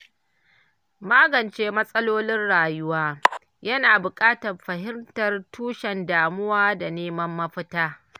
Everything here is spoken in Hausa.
Magance matsalolin rayuwa, yana buƙatar fahimtar tushen damuwa da neman mafita.